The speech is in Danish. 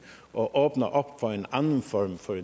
og åbner op for en anden form for